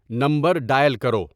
number dial کرو